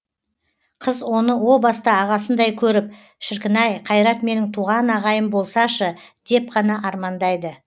қыз оны о баста ағасындай көріп шіркін ай қайрат менің туған ағайым болсашы деп қана армандайды